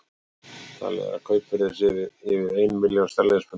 Talið er að kaupverðið sé yfir ein milljón sterlingspunda.